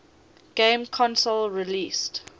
game console released